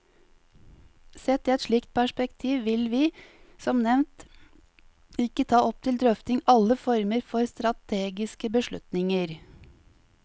Sett i et slikt perspektiv vil vi, som nevnt, ikke ta opp til drøfting alle former for strategiske beslutninger.